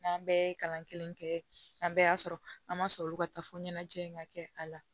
N'an bɛɛ ye kalan kelen kɛ an bɛɛ y'a sɔrɔ an ma sɔn olu ka taa fo ɲɛnajɛ in ka kɛ a la